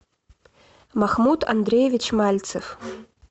махмуд андреевич мальцев